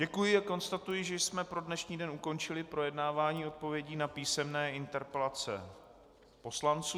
Děkuji a konstatuji, že jsme pro dnešní den ukončili projednávání odpovědí na písemné interpelace poslanců.